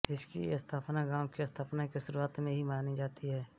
इसकी स्थापना गॉंव की स्थापना के शुरुआत में ही मानी जाती है